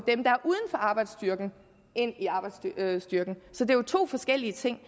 arbejdsstyrken ind i arbejdsstyrken så det er jo to forskellige ting